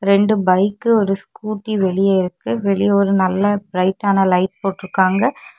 ரெண்டு பைக்கு ஒரு ஸ்கூட்டி வெளியே இருக்கு வெளியே ஒரு நல்ல பிரைட்டான லைட் போட்டுருக்காங்க.